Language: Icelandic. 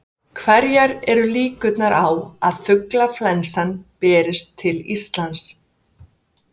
Hverjar eru líkurnar á að fuglaflensa berist til Íslands?